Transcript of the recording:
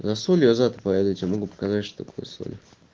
за солью я завтра поеду я тебе могу показать что такое соль